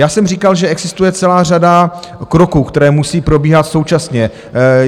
Já jsem říkal, že existuje celá řada kroků, které musí probíhat současně.